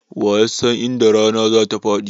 Wa ya san inda rana zatafaɗi?